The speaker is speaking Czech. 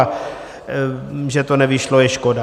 A že to nevyšlo, je škoda.